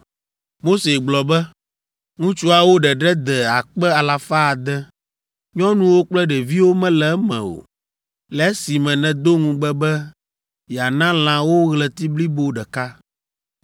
Mose gblɔ be, “Ŋutsuawo ɖeɖe de akpe alafa ade, nyɔnuwo kple ɖeviwo mele eme o; le esime nèdo ŋugbe be yeana lã wo ɣleti blibo ɖeka!